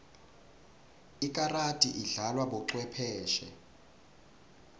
ikarati idlalwa bocwepheshe